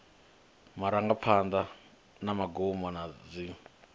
marangaphanḓa na magumo na dziṅwe